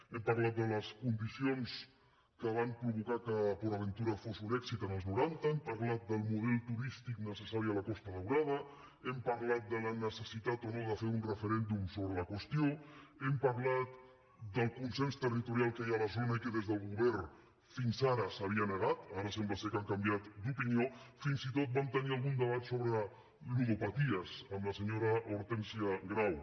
hem parlat de les condicions que van provocar que port aventura fos un èxit als noranta hem parlat del model turístic necessari a la costa daurada hem parlat de la necessitat o no de fer un referèndum sobre la qüestió hem parlat del consens territorial que hi ha a la zona i que des del govern fins ara s’hi havia negat ara sembla que han canviat d’opinió fins i tot vam tenir algun debat sobre ludopaties amb la senyora hortènsia grau